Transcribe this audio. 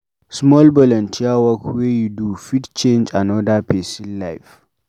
Small volunteer work wey you do fit change anoda pesin life.